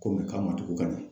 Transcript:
Koni kama tugu ka na